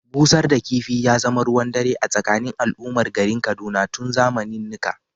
Busar da kifi ya zama ruwan dare a tsakanin al’ummar garin Kaduna tun zamanennika.